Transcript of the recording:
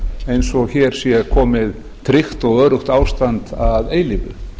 eins og hér sé komið tryggt og öruggt ástand að eilífu